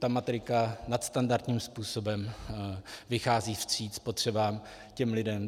Ta matrika nadstandardním způsobem vychází vstříc potřebám těch lidí.